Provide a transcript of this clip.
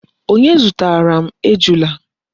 Onye zutara Ejula?